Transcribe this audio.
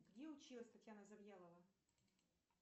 где училась татьяна завьялова